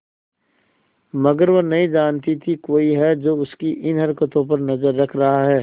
मगर वह नहीं जानती थी कोई है जो उसकी इन हरकतों पर नजर रख रहा है